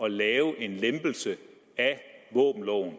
at lave en lempelse af våbenloven